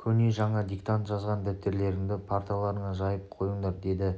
көне жаңа диктант жазған дәптерлеріңді парталарыңа жайып қойыңдар деді